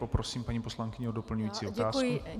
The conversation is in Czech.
Poprosím paní poslankyni o doplňující otázku.